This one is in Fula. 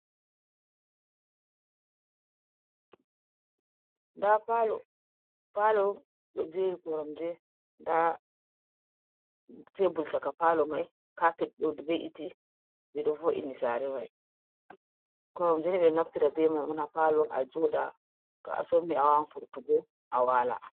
Ndaa paalo ɗo jeeri koramje ndaa teebur caka palyo mai, caapet ɗo ve’iti ɓe ɗo vo'ini saare mai, koramjen ni ɓe ɗo naftira bee mai caka paalo mai a jooɗa to a somi a waawan furtugo a waala.